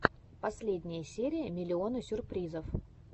последняя серия миллиона сюрпризов